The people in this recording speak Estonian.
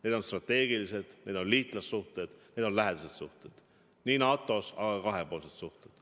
Need on strateegilised, need on liitlassuhted, need on lähedased suhted NATO-s, aga ka kahepoolsed suhted.